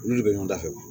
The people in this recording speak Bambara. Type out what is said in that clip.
N'olu de bɛ ɲɔgɔn da fɛ wa